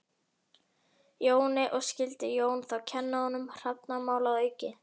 Jóni, og skyldi Jón þá kenna honum hrafnamál að auki.